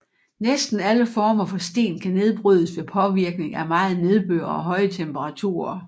Næsten alle former for sten kan nedbrydes ved påvirkning af meget nedbør og høje temperaturer